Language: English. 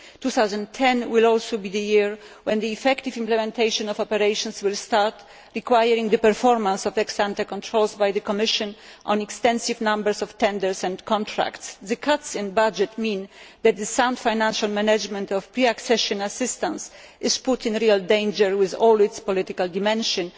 2010 will also be the year when the effective implementation of operations will start, requiring the performance of ex ante controls by the Commission on extensive numbers of tenders and contracts. The budget cuts mean that the sound financial management of pre accession assistance is put in real danger, with all its political dimensions.